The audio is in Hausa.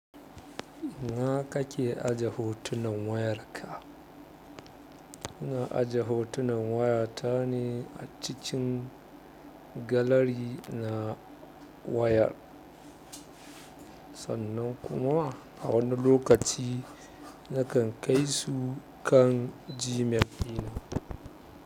Ina ka mke aje hotunan wayarka? Ina aje hotunan waya ta ne a cikin gallery na wayar. Sannan kuma a wani lokaci na kan kai su kan Gmail ɗina.